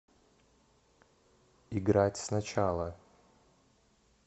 играть сначала